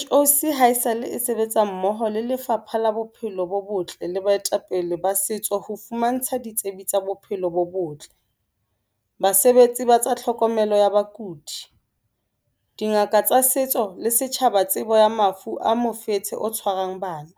CHOC haesale e sebetsa mmoho le Lefapha la Bophelo bo Botle le baetapele ba setso ho fumantsha ditsebi tsa bophelo bo botle, basebetsi ba tsa tlhokomelo ya bakudi, dingaka tsa setso le setjhaba tsebo ya mafu a mofetshe o tshwarang bana.